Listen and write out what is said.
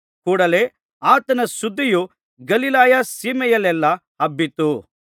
ಕೂಡಲೆ ಆತನ ಸುದ್ದಿಯು ಗಲಿಲಾಯ ಸೀಮೆಯಲ್ಲೆಲ್ಲಾ ಹಬ್ಬಿತು